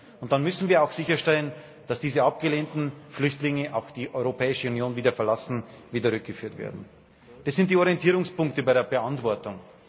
Und dann müssen wir auch sicherstellen, dass diese abgelehnten Flüchtlinge die Europäische Union auch wieder verlassen und wieder rückgeführt werden. Das sind die Orientierungspunkte bei der Beantwortung.